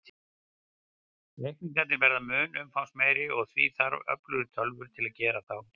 Reikningarnir verða mun umfangsmeiri, og því þarf öflugri tölvur til að gera þá.